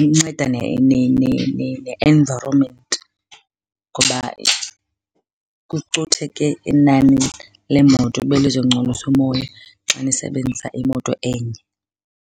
Inceda ne-environment ngoba kucutheke inani leemoto ebelizongcolisa umoya xa nisebenzisa imoto enye.